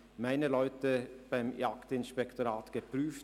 Meine Leute beim Jagdinspektorat haben diese Möglichkeit geprüft.